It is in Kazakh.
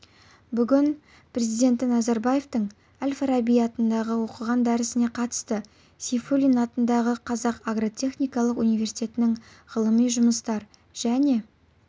бүгін президенті назарбаевтың әл-фараби атындағы оқыған дәрісіне қатысты сейфуллин атындағы қазақ агротехникалық университетінің ғылыми жұмыстар және